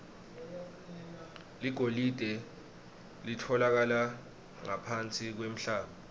ligolide litfolakala ngaphansi kwemhlaba